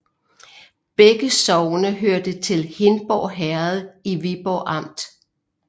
Begge sogne hørte til Hindborg Herred i Viborg Amt